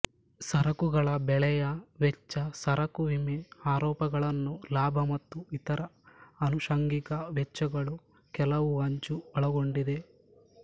ಸರಕುಗಳ ಬೆಲೆಯ ವೆಚ್ಚ ಸರಕು ವಿಮೆ ಆರೋಪಗಳನ್ನು ಲಾಭ ಮತ್ತು ಇತರ ಆನುಷಂಗಿಕ ವೆಚ್ಚಗಳು ಕೆಲವು ಅಂಚು ಒಳಗೊಂಡಿದೆ